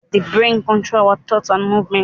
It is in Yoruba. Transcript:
The brain controls our thoughts and movements